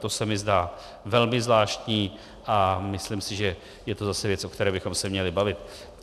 To se mi zdá velmi zvláštní a myslím si, že to je zase věc, o které bychom se měli bavit.